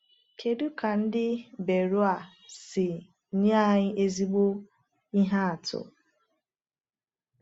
Kedu ka Ndị Beroea si nye anyị ezigbo ihe atụ?